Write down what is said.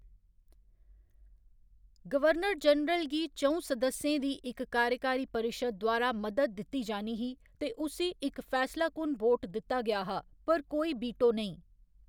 Governor general गी च'ऊं सदस्यें दी इक कार्यकारी परिशद् द्वारा मदद दित्ती जानी ही ते उस्सी इक फैसलाकुन वोट दित्ता गेआ हा पर कोई वीटो नेईं।